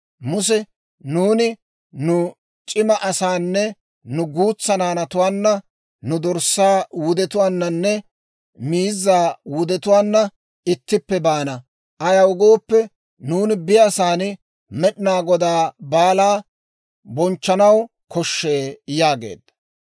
Muse, «Nuuni nu c'ima asaanne nu guutsaa naanatuwaanna, nu dorssaa wudetuwaannanne miizzaa wudetuwaanna ittippe baana; ayaw gooppe, nuuni biyaasan Med'inaa Godaa baalaa bonchchanaw koshshee» yaageedda.